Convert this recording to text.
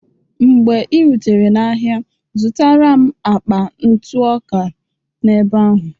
Mgbe ị rutere n'ahịa, zụtara m akpa ntụ ọka n'ebe ahụ.